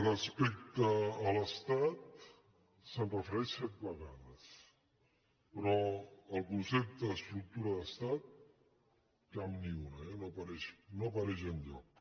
respec·te a l’estat s’hi refereix set vegades però el concepte estructura d’estat cap ni una eh no apareix enlloc